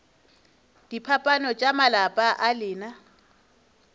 diphapano tša malapa a lena